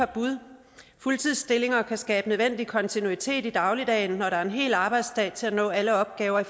bud fuldtidsstillinger kan skabe den nødvendige kontinuitet i dagligdagen når der er en hel arbejdsdag til at nå alle opgaverne